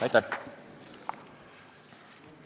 Aitäh!